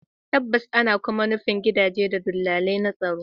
Tabbas, ana kuma nufin gidaje don dalilai na tsaro